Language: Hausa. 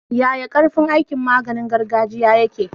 Yaya karfin aikin maganiin gargajiya yake?